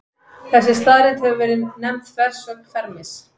Þessi staðreynd hefur verið nefnd þversögn Fermis.